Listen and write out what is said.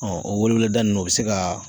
o weeleweeleda ninnu o bɛ se kaa